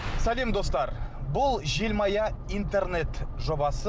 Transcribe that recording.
сәлем достар бұл желмая интернет жобасы